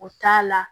O t'a la